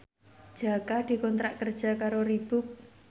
Jaka dikontrak kerja karo Reebook